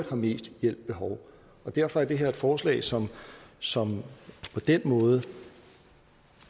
har mest hjælp behov derfor er det her et forslag som som på den måde